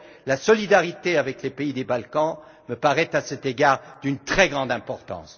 La solidarité avec les pays des Balkans me paraît à cet égard d'une très grande importance.